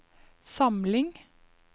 samling